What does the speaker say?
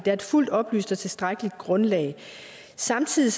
er et fuldt oplyst og tilstrækkeligt grundlag samtidig